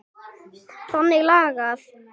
Þannig lagað.